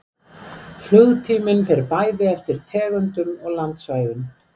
Flugtíminn fer bæði eftir tegundum og landsvæðum.